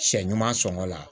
Sɛ ɲuman sɔngɔ la